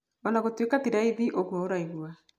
Ona gũtuĩka ti raithi ũguo ũraigua.